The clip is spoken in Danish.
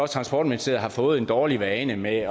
transportministeriet har fået en dårlig vane med